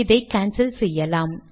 இதை கான்சல் செய்யலாம்